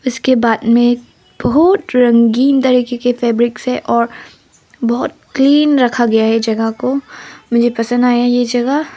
इसके बाद में बहुत रंगीन तरीके की फैब्रिक से और बहोत क्लीन रखा गया है जगह को मुझे पसंद आया ये जगह।